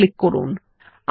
ওকে click করুন